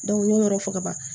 n y'o yɔrɔ fɔ ka ban